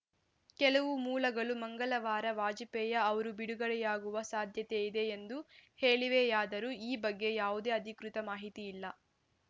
ಕೆಲವು ಮೂಲಗಳು ಮಂಗಳವಾರ ವಾಜಪೇಯಿ ಅವರು ಬಿಡುಗಡೆಯಾಗುವ ಸಾಧ್ಯತೆ ಇದೆ ಎಂದು ಹೇಳಿವೆಯಾದರೂ ಈ ಬಗ್ಗೆ ಯಾವುದೇ ಅಧಿಕೃತ ಮಾಹಿತಿ ಇಲ್ಲ